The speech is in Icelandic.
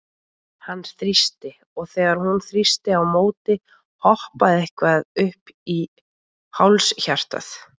Hann þrýsti, og þegar hún þrýsti á móti, hoppaði eitthvað upp í háls hjartað?